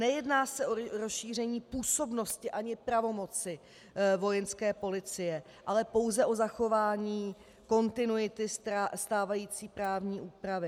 Nejedná se o rozšíření působnosti ani pravomoci Vojenské policie, ale pouze o zachování kontinuity stávající právní úpravy.